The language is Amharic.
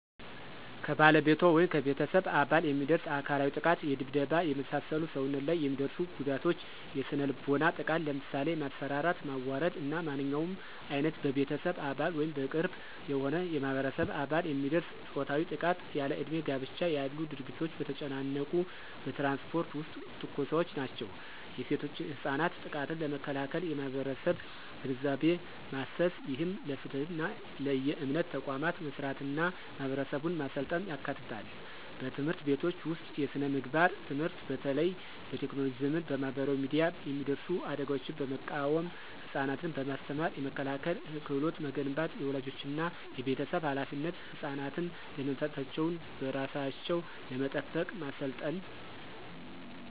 ከባለቤቷ ወይም ከቤተሰብ አባል የሚደርስ አካላዊ ጥቃት የድብደባ፣ የመሳሰሉ ሰውነት ላይ የሚደርሱ ጉዳቶች። የስነ-ልቦናዊ ጥቃት ለምሳሌ የማስፈራራት፣ ማዋረድ እና ማንኛውም ዓይነት በቤተሰብ አባል ወይም በቅርብ የሆነ የማህበረሰብ አባል የሚደርስ ፆታዊ ጥቃት። ያለእድሜ ጋብቻ ያሉ ድርጊቶች። በተጨናነቁ በትራንስፖርት ውስጥ ትንኮሳዎች ናቸው። የሴቶችና ህጻናት ጥቃትን ለመከላከል የማህበረሰብ ግንዛቤ ማሰስ፣ ይህም ለፍትህና ለየእምነት ተቋማት መስራትና ማህበረሰቡን ማሰልጠን ያካትታል። በትምህርት ቤቶች ውስጥ የስነ-ምግባር ትምህርት በተለይ በቴክኖሎጂ ዘመን በማህበራዊ ሚዲያ የሚደርሱ አደጋዎችን በመቃወም ህፃናትን በማስተማር የመከላከያ ክህሎት መገንባት። · የወላጆችና የቤተሰብ ኃላፊነት ህፃናትን ደህንነታቸውን በራሳቸው ለመጠበቅ ማሰልጠን።